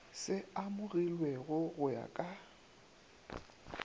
se amogilwego go ya ka